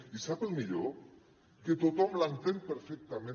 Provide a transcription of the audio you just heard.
i sap el millor que tothom l’entén perfectament